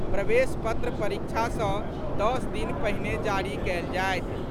प्रवेश पत्र परीक्षा सँ दस दिन पहिने जारी कएल जायत।